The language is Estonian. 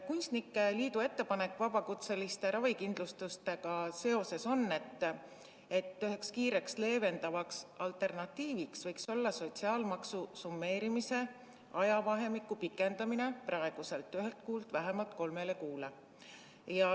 Kunstnike liidu ettepanek vabakutseliste ravikindlustusega seoses on selline, et üheks kiireks leevendavaks alternatiiviks võiks olla sotsiaalmaksu summeerimise ajavahemiku pikendamine praeguselt ühelt kuult vähemalt kolmele kuule.